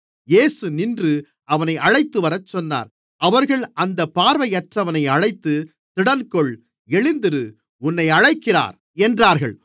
இயேசு நின்று அவனை அழைத்துவரச் சொன்னார் அவர்கள் அந்தப் பார்வையற்றவனை அழைத்து திடன்கொள் எழுந்திரு உன்னை அழைக்கிறார் என்றார்கள்